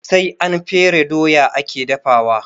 Sai an fere doya ake dafawa